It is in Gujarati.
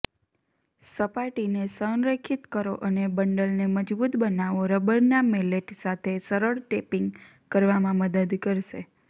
સપાટીને સંરેખિત કરો અને બંડલને મજબુત બનાવો રબરના મેલ્લેટ સાથે સરળ ટેપીંગ કરવામાં મદદ કરશે